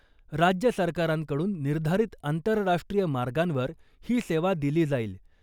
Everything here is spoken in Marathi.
राज्य सरकारांकडून निर्धारित आंतरराष्ट्रीय मार्गांवर ही सेवा दिली जाईल .